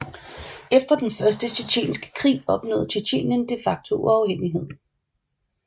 Efter den Første Tjetjenske krig opnåede Tjetjenien de facto uafhængighed